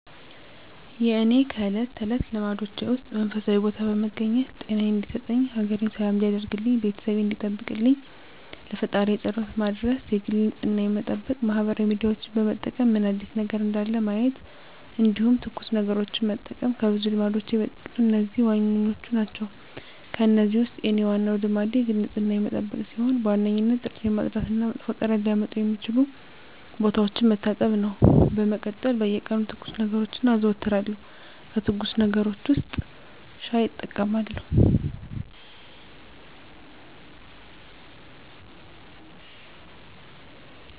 የእኔ ከእለት ተለት ልማዶቼ ውስጥ መንፈሳዊ ቦታ በመገኘት ጤናየን እንዲሰጠኝ፣ ሀገሬን ሰላም እንዲያደርግልኝ፣ ቤተሰቤን እንዲጠብቅልኝ ለፈጣሪየ ፀሎት መድረስ የግል ንፅህናየን መጠበቅ ማህበራዊ ሚዲያዎችን በመጠቀም ምን አዲስ ነገር እንዳለ ማየት እንዲሁም ትኩስ ነገሮችን መጠቀም ከብዙ ልማዶቼ በጥቂቱ እነዚህ ዋናዎቹ ናቸው። ከእነዚህ ውስጥ የኔ ዋናው ልማዴ የግል ንፅህናዬን መጠበቅ ሲሆን በዋነኝነት ጥርሴን ማፅዳት እና መጥፎ ጠረን ሊያመጡ የሚችሉ ቦታዎችን መታጠብ ነው። በመቀጠል በየቀኑ ትኩስ ነገሮችን አዘወትራለሁ ከትኩስ ነገሮች ውስጥ ሻይ እጠቀማለሁ።